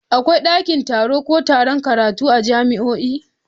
Akwai dakin taro ko taron karatu a jami'o'i.